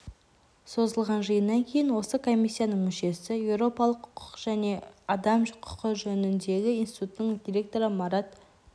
созылған жиыннан кейін осы комиссияның мүшесі еуропалық құқық және адам құқы жөніндегі институттың директоры марат